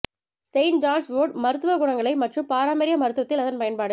Saint John's wort மருத்துவ குணங்களை மற்றும் பாரம்பரிய மருத்துவத்தில் அதன் பயன்பாடு